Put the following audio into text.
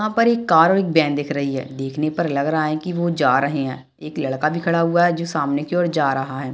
यहां पर एक कार और एक वैन दिख रही हैं देखने पर लग रहा है वो जा रहे हैं एक लड़का भी खड़ा हुआ हैं जो सामने की ओर जा रहा हैं।